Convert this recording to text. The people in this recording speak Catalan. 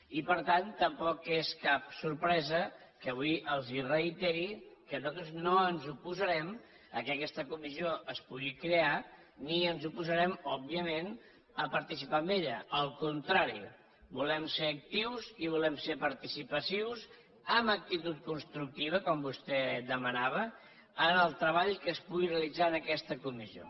i per tant tampoc és cap sorpresa que avui els reiteri que nosaltres no ens oposa rem que aquesta comissió es pugui crear ni ens opo sarem òbviament a participar en ella al contrari volem ser actius i volem ser participatius amb actitud constructiva com vostè demanava en el treball que es pugui realitzar en aquesta comissió